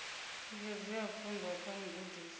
thikedzo ya pfunzo kha mugudiswa